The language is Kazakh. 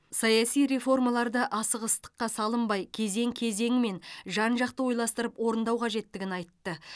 саяси реформаларды асығыстыққа салынбай кезең кезеңімен жан жақты ойластырып орындау қажеттігін айтты